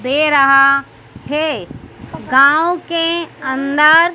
दे रहा है गांव के अंदर--